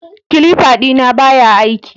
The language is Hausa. Clipper dina baya aiki